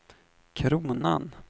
kronan